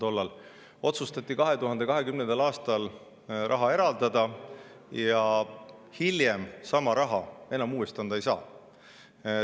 Aga raha otsustati eraldada 2020. aastal ja hiljem sama raha uuesti anda ei saa.